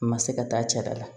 Ma se ka taa cɛ da la